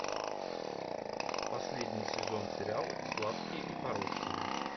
последний сезон сериал сладкие и порочные